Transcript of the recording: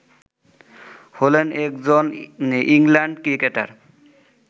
হলেন একজন England cricketer